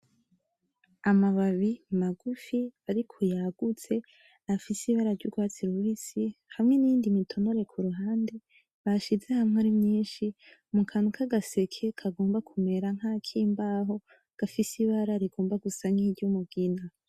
Amababi magufi ariko yagutse afise ibara ry'urwatsi rubisi, hamwe n'iyindi mitonore kuruhande bashize hamwe ari myinshi mu kantu kagaseke kagomba kumera nkakimbaho gafise ibara rigomba gusa nk'iryumugina.